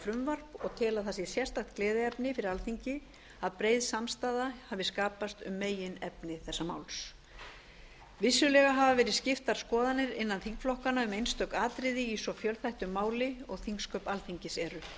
frumvarp og tel það sérstakt gleðiefni fyrir alþingi að breið samstaða hafi skapast um meginefni þessa máls vissulega hafa verið skiptar skoðanir innan þingflokkanna um einstök atriði í svo fjölþættu mál og þingsköp alþingis eru